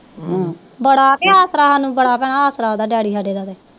ਬੜਾ ਆਸਰਾ ਉਹਦਾ ਡੈਡੀ ਸਾਡੇ ਦਾ ਤੇ